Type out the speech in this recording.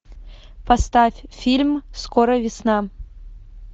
поставь фильм скоро весна